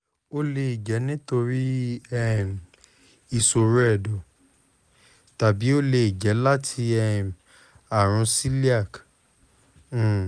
o le jẹ nitori um iṣoro ẹdọ tabi o le jẹ lati um arun celiac um